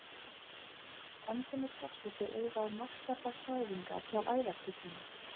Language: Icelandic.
Enn kemur forseti auga á markverðar hræringar hjá æðarfuglinum.